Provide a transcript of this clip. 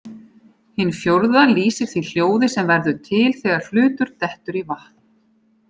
Hin fjórða lýsir því hljóði sem verður til þegar hlutur dettur í vatn.